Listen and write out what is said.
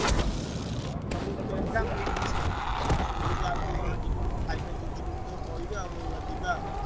ମୋ ସହିତ ଯଦି ଆଉ ଜଣେ କିଏ ଯିବ ମୋ ଭାଇ ଫି କିଏ ଯିବା ଯଦି ମୁଁ କହିବି ଆଉ ଯିବା ଆଉ।